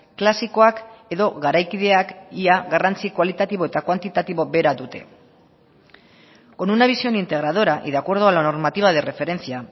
klasikoak edo garaikideak ia garrantzi kualitatibo eta kuantitatibo bera dute con una visión integradora y de acuerdo a la normativa de referencia